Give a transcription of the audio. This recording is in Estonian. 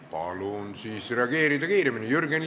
Palun reageerida kiiremini!